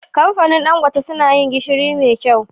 Kamfanin dan gote suna yin gishiri me kyau